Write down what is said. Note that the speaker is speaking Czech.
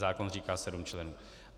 Zákon říká sedm členů.